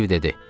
Steve dedi.